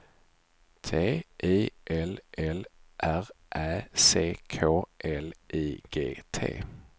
T I L L R Ä C K L I G T